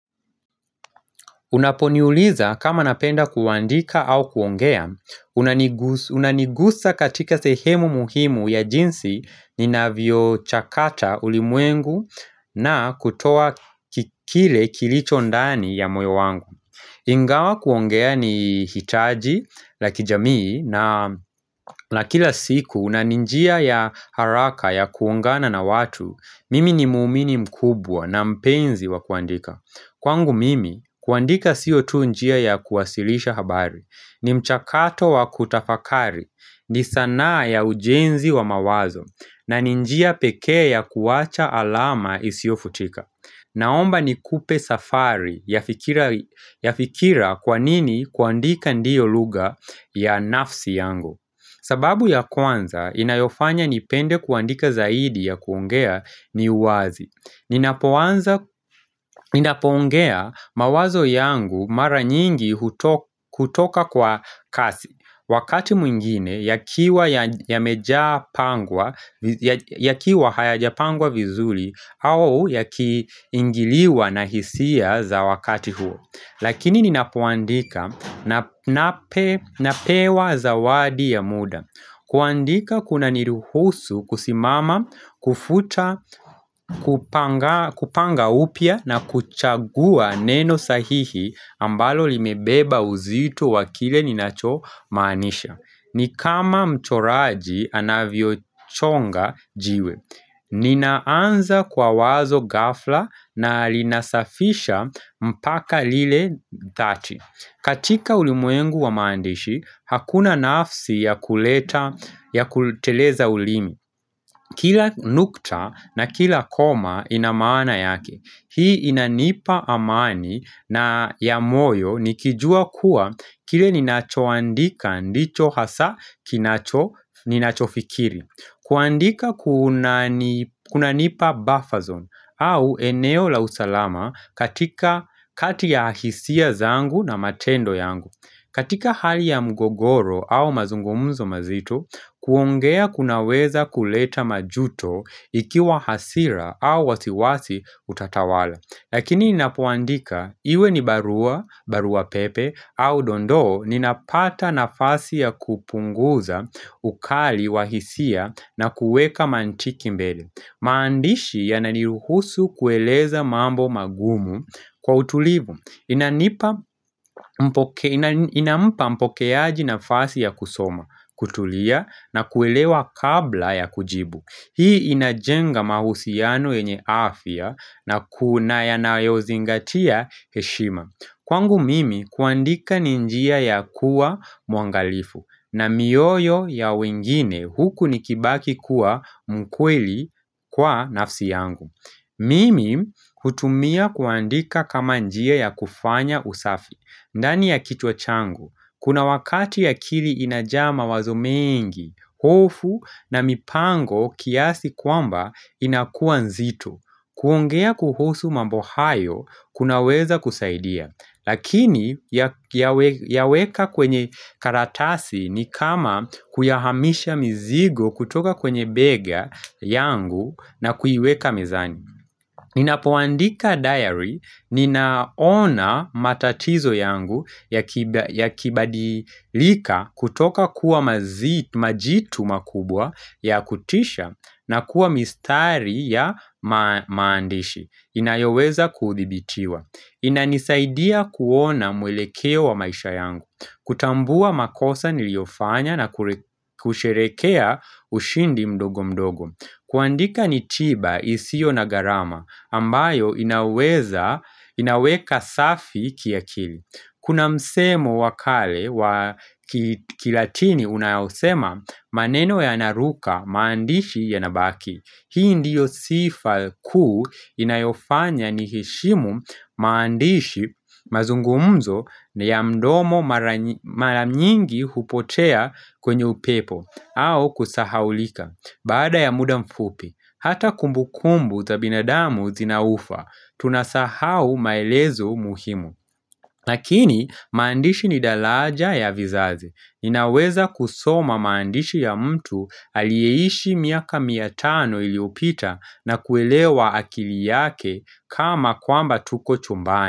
Unaponiuliza kama napenda kuandika au kuongea, unanigusa katika sehemu muhimu ya jinsi ni navyo chakata ulimwengu na kutoa kikile kilicho ndani ya moyo wangu. Ingawa kuongea ni hitaji la kijamii na la kila siku na ni njia ya haraka ya kuungana na watu, mimi ni muumini mkubwa na mpenzi wa kuandika. Kwangu mimi, kuandika siotu njia ya kuwasilisha habari, ni mchakato wa kutafakari, ni sanaa ya ujenzi wa mawazo, na ni njia pekee ya kuwacha alama isio futika. Naomba ni kupe safari ya fikira kwanini kuandika ndio luga ya nafsi yangu. Sababu ya kwanza, inayofanya nipende kuandika zaidi ya kuongea ni uwazi. Ninapoanza ninapoongea mawazo yangu mara nyingi kutoka kwa kasi. Wakati mwingine, yakiwa hayajapangwa vizuli au yakiingiliwa na hisia za wakati huo. Lakini ninapoandika napewa zawadi ya muda kuandika kuna niruhusu kusimama kufuta kupanga upya na kuchagua neno sahihi ambalo limebeba uzito wa kile ninachomanisha ni kama mchoraji anavyo chonga jiwe Ninaanza kwa wazo gafla na linasafisha mpaka lile thati katika ulimwengu wa maandishi hakuna nafsi ya kuleta ya kuteleza ulimi Kila nukta na kila koma inamana yake Hii inanipa amani na ya moyo nikijua kuwa kile ninachoandika ndicho hasa ninacho fikiri kuandika kuna nipa buffer zone au eneo la usalama katika kati ya hisia zangu na matendo yangu katika hali ya mgogoro au mazungumuzo mazito, kuongea kunaweza kuleta majuto ikiwa hasira au wasiwasi utatawala Lakini ninapoandika iwe ni barua, barua pepe au dondoo ninapata nafasi ya kupunguza ukali wa hisia na kuweka mantiki mbele maandishi ya naniruhusu kueleza mambo magumu kwa utulibu inampa mpokeaji nafasi ya kusoma, kutulia na kuelewa kabla ya kujibu Hii inajenga mahusiano enye afya na kuna yanayo zingatia heshima Kwangu mimi kuandika ni njia ya kuwa muangalifu na mioyo ya wengine huku nikibaki kuwa mkweli kwa nafsi yangu Mimi hutumia kuandika kama njia ya kufanya usafi ndani ya kichwa changu, kuna wakati akili inajaa mawazo mengi, hofu na mipango kiasi kwamba inakuwa nzito kuongea kuhusu mambo hayo, kunaweza kusaidia Lakini yaweka kwenye karatasi ni kama kuyahamisha mizigo kutoka kwenye bega yangu na kuiweka mezani Ninapoandika diary, ninaona matatizo yangu ya kibadilika kutoka kuwa majitu makubwa ya kutisha na kuwa mistari ya maandishi inayoweza kuthibitiwa inanisaidia kuona mwelekeo wa maisha yangu kutambua makosa niliofanya na kusherekea ushindi mdogo mdogo kuandika ni tiba isio na garama ambayo inaweza inaweka safi kiakili Kuna msemo wa kale wa kilatini unayosema maneno ya naruka maandishi ya nabaki Hii ndiyo sifa kuu inayofanya niheshimu maandishi mazungumzo ni ya mdomo mara nyingi hupotea kwenye upepo au kusahaulika, baada ya muda mfupi, hata kumbu kumbu za binadamu zinaufa, tunasahau maelezo muhimu lakini, maandishi ni dalaja ya vizazi, inaweza kusoma maandishi ya mtu aliyeishi miaka mia tano iliopita na kuelewa akili yake kama kwamba tuko chumbani.